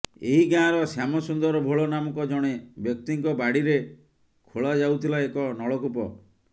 ଏହି ଗାଁର ଶ୍ୟାମସୁନ୍ଦର ଭୋଳ ନାମକ ଜଣେ ବ୍ୟକ୍ତିଙ୍କ ବାଡିରେ ଖୋଳା ଯାଉଥିଲା ଏକ ନଳକୂପ